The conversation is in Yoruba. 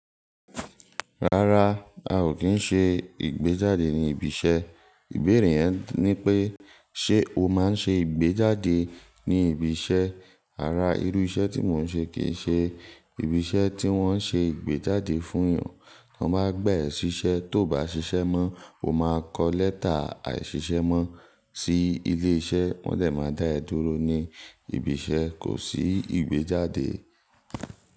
Rárá, a ò kí ń ṣe ìgbéjáde ní ibi iṣẹ́. Ìbéèrè yẹn ni pé ṣe o máa ń ṣe ìgbéjáde ní ibi iṣẹ́? Rara irú iṣẹ́ tí mò ń ṣe kìí ṣe ibi iṣẹ́ tí wọ́n ṣe ìgbéjáde fún yàn. Wọ́n máa gbà yan ṣiṣẹ́, tó bá ṣiṣẹ́ mọ́, o máa kọ lẹ́tà àìṣiṣẹ́ mọ́ sí ilé iṣẹ́, wọ́n dè máa dá ẹ dúró ní ibi iṣẹ́, kò sí ìgbéjáde.